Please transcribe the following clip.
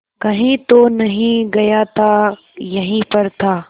कहीं तो नहीं गया था यहीं पर था